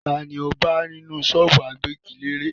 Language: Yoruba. Ta ni mo bá ní ṣọ́ọ́bù agbẹ́giléèrè?